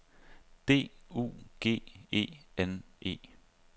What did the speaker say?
D U G E N E